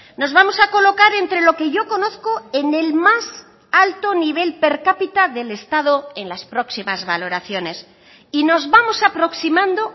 nos vamos a colocar entre lo que yo conozco en el más alto nivel per cápita del estado en las próximas valoraciones y nos vamos aproximando